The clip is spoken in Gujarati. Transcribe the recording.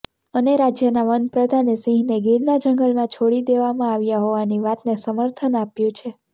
અને રાજ્યના વન પ્રધાને સિંહને ગીરના જંગલમાં છોડી દેવામાં આવ્યા હોવાની વાતને સમર્થન આપ્યું છે